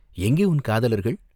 எங்கே உன் காதலர்கள்?